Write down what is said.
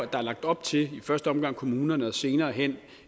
er lagt op til i første omgang i kommunerne og senere hen